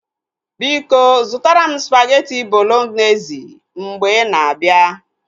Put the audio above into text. Biko zụtara m spageti bolognezi mgbe ina abịa